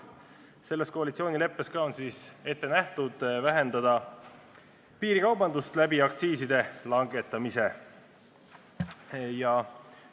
Selles koalitsioonileppes on ette nähtud vähendada piirikaubandust aktsiiside langetamise abil.